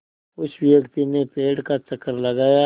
उस व्यक्ति ने पेड़ का चक्कर लगाया